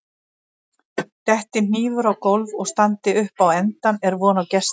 detti hnífur á gólf og standi upp á endann er von á gesti